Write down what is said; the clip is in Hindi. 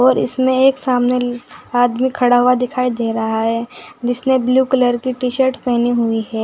और इसमें एक सामने आदमी खड़ा हुआ दिखाई दे रहा है जिसने ब्लू कलर की टी_शर्ट पहनी हुई है।